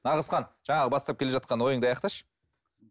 нағызхан жаңағы бастап келе жатқан ойыңды аяқташы